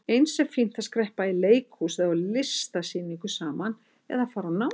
Eins er fínt að skreppa í leikhús eða á listasýningu saman eða fara á námskeið.